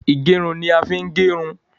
Ìgẹrun ni a ń fi ń gerun